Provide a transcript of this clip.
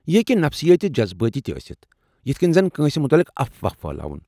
یہ ہیٚکہ نفسیٲتی تہٕ جذبٲتی تِہ ٲستھ یتھہٕ کٔنۍ زن کٲنٛسہ متعلق افواہ پھہلاوُن ۔